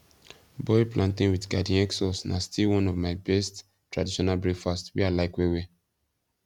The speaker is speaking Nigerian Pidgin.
boiled plantain with garden egg sauce na still one of my best traditional breakfast wey i like well well